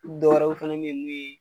Dɔwɛrɛ fɛnɛ be yen, mun ye